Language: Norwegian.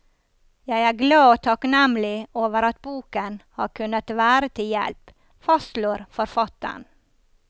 Jeg er glad og takknemlig over at boken har kunnet være til hjelp, fastslår forfatteren.